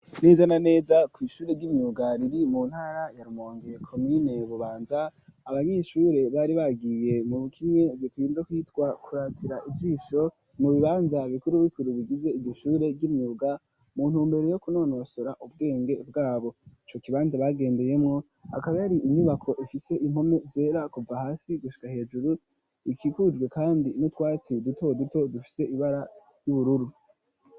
Neza na neza kwishure ryimyuga riri mu ntara ya Rumonge komine Bubanza abanyeshure bari bagiye muri kimwe bikunze kwitwa kuratira ijisho mu bibanza bikuru bikuru bigize igishure ry'imyuga mu ntumbero yokunonosora ubwenge bwabo, ico kibanza bagendeyemwo akaba yari inyubako ifise impome zera kuva hasi gushika hejuru ikikujwe kandi n'utwatsi duto duto dufise ibara ry'ubururu.